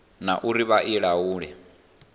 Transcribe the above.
na uri vha i laule